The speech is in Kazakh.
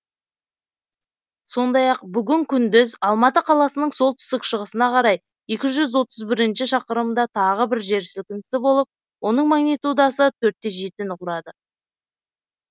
сондай ақ бүгін күндіз алматы қаласының солтүстік шығысына қарай екі жүз отыз бірінші шақырымда тағы бір жер сілкінісі болып оның магнитудасы төрт те жетіні құрады